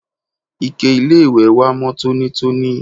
ike-iléwẹ̀ wa mọ́ tónítóní